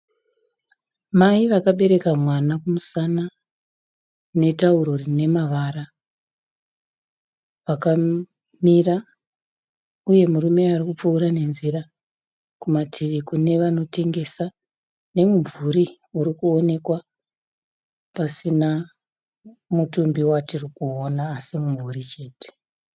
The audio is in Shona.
Mai vakabereka mwana kumusana netauro rine mavara, vakamira uye murume ari kupfuura nenzira. Kumativi kune vanotengesa nemumvuri uri kuonekwa pasina mutumbi watiri kuona asi mumvuri chete.